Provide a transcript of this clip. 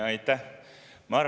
Aitäh!